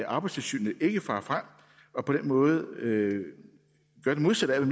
arbejdstilsynet ikke farer frem og på den måde gør det modsatte af